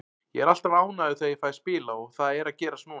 Ég er alltaf ánægður þegar ég fæ að spila og það er að gerast núna.